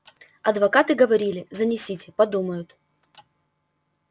адвокаты говорили занесите подумают